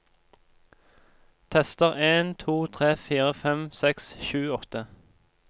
Tester en to tre fire fem seks sju åtte